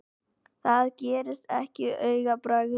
Það gerist ekki á augabragði.